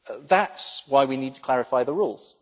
EU. That is why we need to clarify the rules.